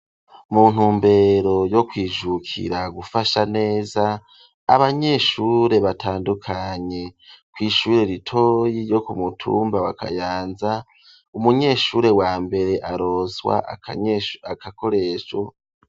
mu ntumbero yo kwijukira gufasha neza abanyeshure batandukanye, kw,ishure ritoyi ryo kumutumba wa Kayanza, umunyeshure wa mbere aronswa akakoresho.